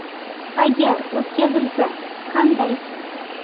Agar o‘tkazilsa, qanday?.